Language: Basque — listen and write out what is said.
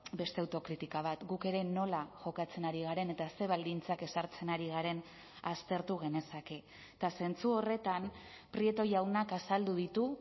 beste autokritika bat guk ere nola jokatzen ari garen eta ze baldintzak ezartzen ari garen aztertu genezake eta zentzu horretan prieto jaunak azaldu ditu